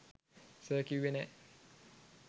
sir කිව්වේ නෑ